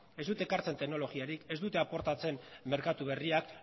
ez dute ekartzen teknologiarik ez dute aportatzen merkatua berriak